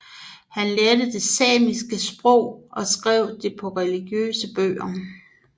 Han lærte der det samiske sprog og skrev på det religiøse bøger